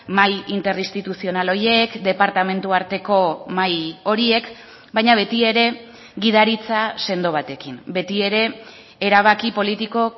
mahai interinstituzional horiek departamentu arteko mahai horiek baina betiere gidaritza sendo batekin betiere erabaki politiko